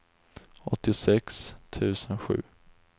åttiosex tusen sju